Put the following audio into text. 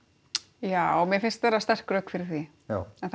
já mér finnst vera sterk rök fyrir því já en það